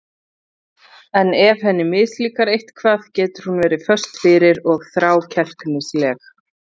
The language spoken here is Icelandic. En ef henni mislíkar eitthvað getur hún verið föst fyrir og þrákelknisleg.